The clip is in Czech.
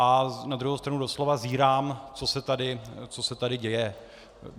A na druhou stranu doslova zírám, co se tady děje.